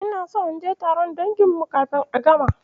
Ina so naje taron dangin mu kafin a gama.